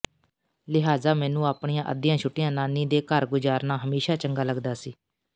ਲਿਹਾਜ਼ਾ ਮੈਨੂੰ ਆਪਣੀਆਂ ਅੱਧੀਆਂ ਛੁੱਟੀਆਂ ਨਾਨੀ ਦੇ ਘਰ ਗੁਜ਼ਾਰਨਾ ਹਮੇਸ਼ਾਂ ਚੰਗਾ ਲੱਗਦਾ ਸੀ